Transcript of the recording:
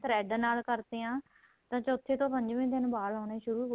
thread ਨਾਲ ਕਰਦੇ ਹਾਂ ਤਾਂ ਚੋਥੇ ਤੋ ਪੰਜਵੇਂ ਦਿਨ ਵਾਲ ਆਉਣੇ ਸੁਰੂ